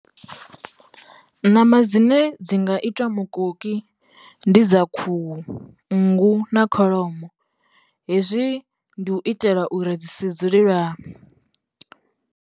Ṋama dzine dzi nga itiwa mukoki ndi dza khuhu, nngu na kholomo hezwi ndi u itela uri dzi si dzule lwa .